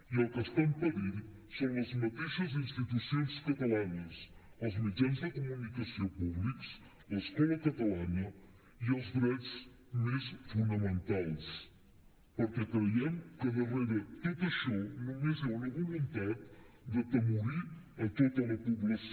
i el que està en perill són les mateixes institucions catalanes els mitjans de comunicació públics l’escola catalana i els drets més fonamentals perquè creiem que darrere tot això només hi ha una voluntat d’atemorir tota la població